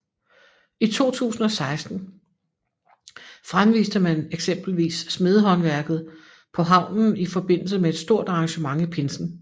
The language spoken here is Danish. I 2016 fremviste man eksempelvis smedehåndværket på havnen i forbindelse med et stort arrangement i pinsen